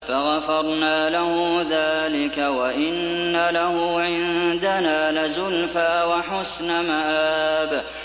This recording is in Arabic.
فَغَفَرْنَا لَهُ ذَٰلِكَ ۖ وَإِنَّ لَهُ عِندَنَا لَزُلْفَىٰ وَحُسْنَ مَآبٍ